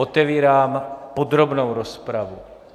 Otevírám podrobnou rozpravu.